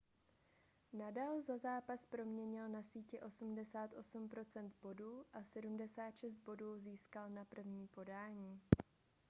nadal za zápas proměnil na síti 88 % bodů a 76 bodů získal na první podání